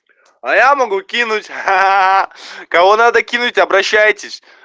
а я могу кинуть кого надо кинуть обращайтесь